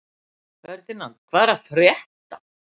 Ferdínand, hvað er að frétta?